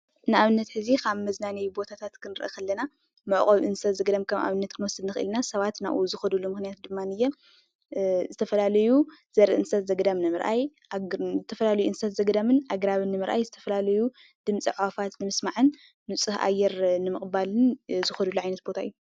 ንኣብነት ሕዚ ካብ መዝናነይ ቦታታት ከንርኢ ከለና መዕቆቢ እንስሳ ዘገዳም ከም ኣብነት ክንወስድ ንክእል ኢና። ሰባት ናብኡ ዝከድሉ ምክንያት ድማንየ ዝተፈላለዩ ዘርኢ እንስሳታት ዘገዳም ንምርኣይ ዝተፈላለዩ እንስሳ ዘገዳምን ኣግራብን ንምርኣይ ዝተፈላለዩ ድምፂ ኣዕዋፋት ንምስማዕን ንፁህ ኣየር ንምቅባልን ዝከድሉ ዓይነት ቦታ እዩ።